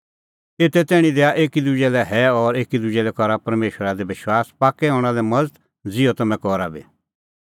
एते तैणीं दैआ एकी दुजै लै हैअ और एकी दुजै लै करा परमेशरा दी विश्वास पाक्कै हणां लै मज़त ज़िहअ तम्हैं करा बी